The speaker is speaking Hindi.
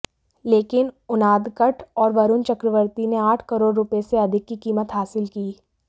लेकिन उनादकट और वरुण चक्रवर्ती ने आठ करोड़ रूपये से अधिक की कीमत हासिल की